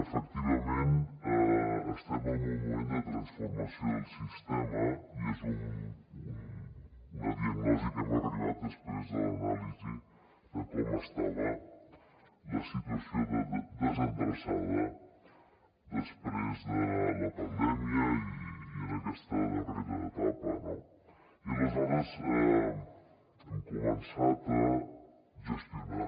efectivament estem en un moment de transformació del sistema i és una diagnosi a què hem arribat després de l’anàlisi de com estava la situació de desendreçada després de la pandèmia i en aquesta darrera etapa i aleshores hem començat a gestionar